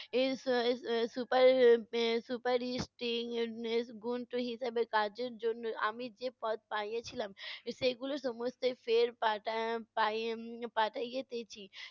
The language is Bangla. হিসাবে কাজের জন্য আমি যে পদ পাইয়েছিলাম সেগুলো সমস্তই ফের পাঠা~ আহ পায়ে~ পাঠাইয়েতেছি